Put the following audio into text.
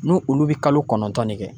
N'u olu bɛ kalo kɔnɔntɔn de kɛ.